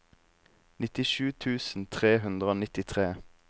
nittisju tusen tre hundre og nittitre